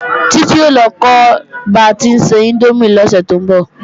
Titi o lọ kọ́ ba tí ń se índómì lọ́sẹ̀ tó ń bọ̀